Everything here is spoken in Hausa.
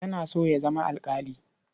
Yana so ya zama alƙali.